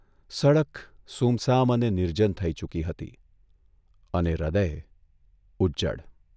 સડક સૂમસામ અને નિર્જન થઇ ચૂકી હતી અને હૃદય ઉજ્જડ !